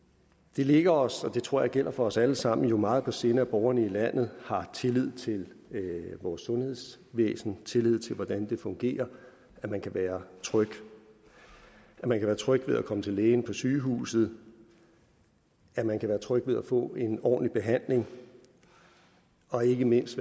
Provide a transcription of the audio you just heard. det ligger os og det tror jeg gælder for os alle sammen jo meget på sinde at borgerne i landet har tillid til vores sundhedsvæsen tillid til hvordan det fungerer at man kan være tryg at man kan være tryg ved at komme til lægen på sygehuset at man kan være tryg ved at få en ordentlig behandling og ikke mindst